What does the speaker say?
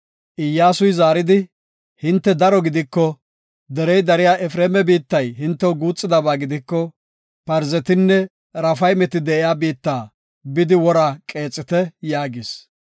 Iyyasuy zaaridi, “Hinte daro gidiko, derey dariya Efreema biittay hintew guuxidaba gidiko, Parzetinne Raafaymeti de7iya biitta bidi wora qeexite” yaagis.